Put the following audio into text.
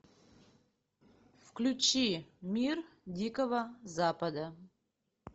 включи мир дикого запада